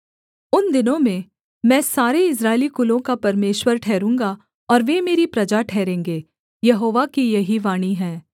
उन दिनों में मैं सारे इस्राएली कुलों का परमेश्वर ठहरूँगा और वे मेरी प्रजा ठहरेंगे यहोवा की यही वाणी है